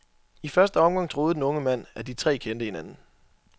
I første omgang troede den unge mand, at de tre kendte hinanden.